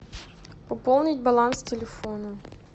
пополнить баланс телефона